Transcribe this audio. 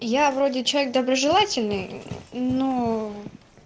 я вроде человек доброжелательный но